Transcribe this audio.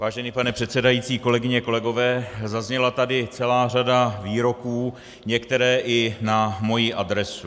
Vážený pane předsedající, kolegyně, kolegové, zazněla tady celá řada výroků, některé i na moji adresu.